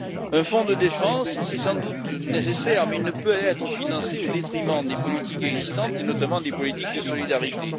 Un fonds de défense, c'est sans doute nécessaire, mais il ne peut être financé au détriment des politiques existantes, et notamment des politiques de solidarité.